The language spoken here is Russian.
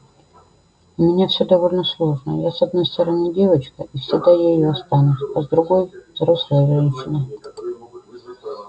у меня все довольно сложно я с одной стороны девочка и всегда ею останусь а с другой взрослая женщина